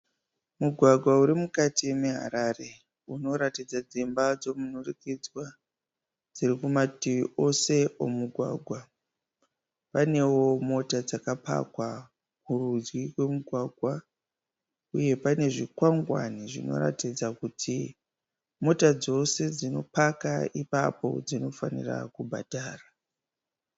Mugwagwa uri mukati meHarare unoratidza dzimba dzemunhurikidzwa dziri kumativi ose emugwagwa. Panewo mota dzaka pakwa kurudyi kwemugwagwa . Uye pane zvikanganwi zvinotatidza kuti motokari dzose dzino paka ipapo dzinofanirwa kubhadhara.